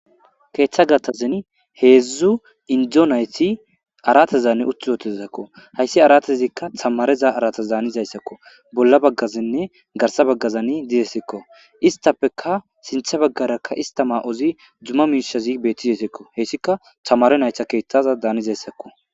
Keeththa gatazan heedzdzu indzo nayti arate zanne uttyootesakko hayssi aratezikka tamareza aratas daanizayssakko bolla baggazinne garsa baggazani dizesekko istappeka sinthe baggarakka ista ma'ozi dzuma miishazi beettizasikko heyssika tamare nayta keeththaza daanizayssakko.